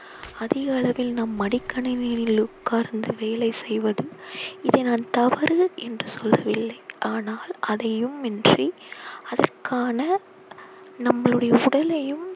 அதிக அளவில் நாம் மடிக்கணினியில் உட்கார்ந்து வேலை செய்வதும் இதை நான் தவறு என்று சொல்லவில்லை ஆனால் அதையும் இன்றி அதற்கான நம்மளுடைய உடலையும்